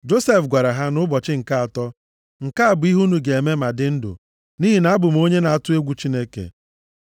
Josef gwara ha, nʼụbọchị nke atọ, “Nke a bụ ihe unu ga-eme ma dị ndụ, nʼihi na abụ m onye na-atụ egwu Chineke.